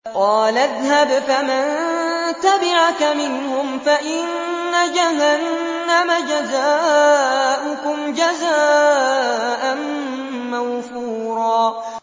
قَالَ اذْهَبْ فَمَن تَبِعَكَ مِنْهُمْ فَإِنَّ جَهَنَّمَ جَزَاؤُكُمْ جَزَاءً مَّوْفُورًا